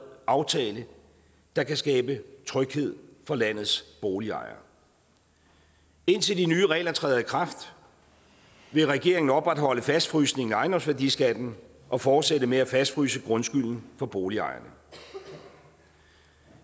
aftale der kan skabe tryghed for landets boligejere indtil de nye regler træder i kraft vil regeringen opretholde fastfrysningen af ejendomsværdiskatten og fortsætte med at fastfryse grundskylden for boligejerne